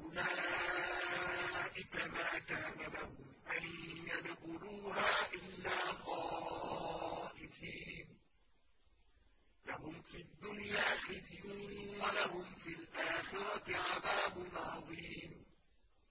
أُولَٰئِكَ مَا كَانَ لَهُمْ أَن يَدْخُلُوهَا إِلَّا خَائِفِينَ ۚ لَهُمْ فِي الدُّنْيَا خِزْيٌ وَلَهُمْ فِي الْآخِرَةِ عَذَابٌ عَظِيمٌ